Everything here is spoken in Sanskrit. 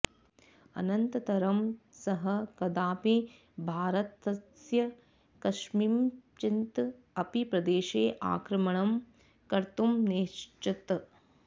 अनन्तरं सः कदापि भारतस्य कस्मिंश्चित् अपि प्रदेशे आक्रमणं कर्तुं नैच्छत्